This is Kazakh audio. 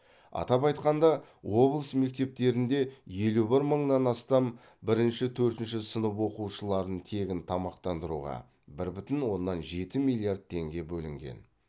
атап айтқанда облыс мектептеріндеелу бір мыңнан астам бірінші төртінші сынып оқушыларын тегін тамақтандыруға бір бүтін оннан жеті миллиард теңге бөлінген